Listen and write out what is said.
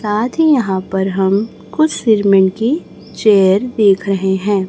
साथी ही यहां पर हम कुछ सीरमेंट की चेयर देख रहे हैं।